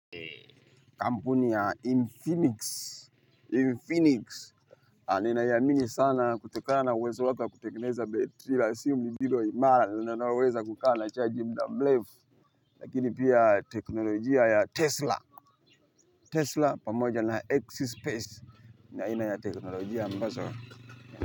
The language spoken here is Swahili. Kampuni ya Infinix, Infinix, ninaiamini sana kutokana na uwezo wake wa kutengeneza betri la simu iwe imara na linaloweza kukaa na chaji muda mrefu, lakini pia teknolojia ya Tesla, Tesla pamoja na X-Space, ni aina ya teknolojia mbazo.